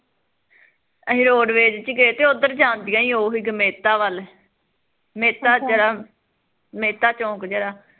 ਤੇ ਅਸੀਂ roadways ਚ ਗਏ ਤੇ ਓਧਰ ਜਾਂਦੀਆ ਉਹੀਂ ਜਮੇਤਾ ਵੱਲ ਮਹਿਤਾ ਜਿਹੜਾ ਮਹਿਤਾ ਚੋਂਕ ਜਿਹੜਾ